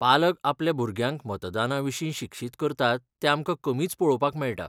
पालक आपल्या भुरग्यांक मतदानाविशीं शिक्षीत करतात तें आमकां कमीच पळोवपाक मेळटा.